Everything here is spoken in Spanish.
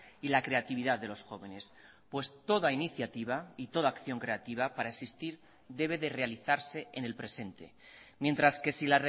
y la creatividad de los jóvenes pues toda iniciativa y toda acción creativa para existir debe de realizarse en el presente mientras que si